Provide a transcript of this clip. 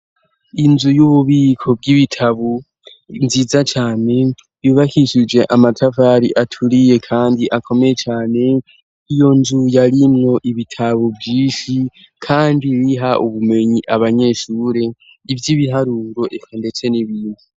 Inzu y'ububiko bw'ibitabo nziza cane, yubakishije amatafari aturiye kandi akomeye cane nk'iyo nzu yarinwo ibitabo vyishi kandi biha ubumenyi abanyeshure, ivy'ibiharuro eka ndetse n'ibindi.